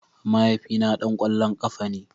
Mahaifina dan kwallon kafa ne.